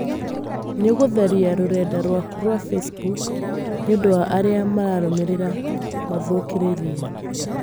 Nĩũgũtharia rũrenda rwaku rwa Facebook nĩũndũ wa arĩa mararũmĩrĩra mathũkĩrĩrie